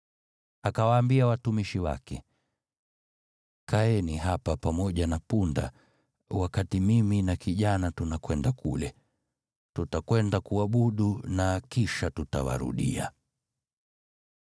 Akawaambia watumishi wake, “Kaeni hapa pamoja na punda, wakati mimi na kijana tunakwenda kule. Tutakwenda kuabudu na kisha tutawarudia.”